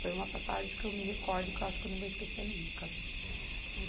Foi uma passagem que eu me recordo e que eu acho que eu não vou esquecer nunca.